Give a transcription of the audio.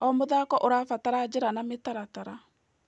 O mũthako ũrabatara njĩra na mĩtaratara.